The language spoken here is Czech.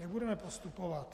Jak budeme postupovat?